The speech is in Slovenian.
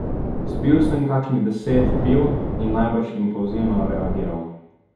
Spil sem kakšnih deset piv in najbrž impulzivno reagiral.